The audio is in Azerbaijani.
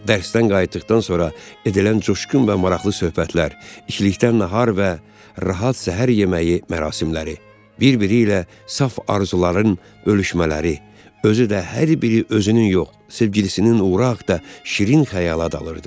Dərsdən qayıtdıqdan sonra edilən coşqun və maraqlı söhbətlər, içilikdən nahar və rahat səhər yeməyi mərasimləri bir-biri ilə saf arzuların bölüşmələri, özü də hər biri özünün yox, sevgilisinin uğuru haqda şirin xəyala dalırdı.